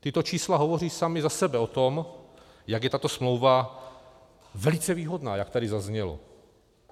Tato čísla hovoří sama za sobe o tom, jak je tato smlouva velice výhodná, jak tady zaznělo.